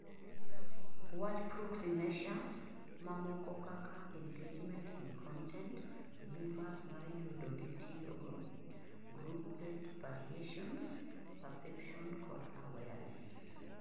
wach proxy measures mamoko kaka engagement in content, levers mar yudo gi tiyogo, group based variations, perception kod awareness